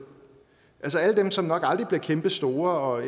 altså alle dem som nok aldrig bliver kæmpestore og